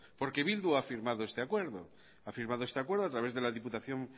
porque bildu ha firmado este acuerdo a través de la diputación